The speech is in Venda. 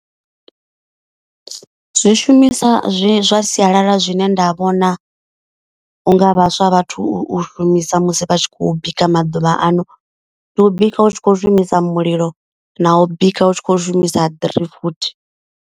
Zwi shumisa zwi zwa sialala zwine nda vhona unga vhaswa vhathu u shumisa musi vha tshi khou bika maḓuvha ano. Ndi u bika u tshi kho shumisa mulilo na u bika u tshi khou shumisa ḓirifuthi.